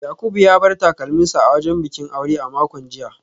Yakubu ya bar takalminsa a wajen bikin aure a makon jiya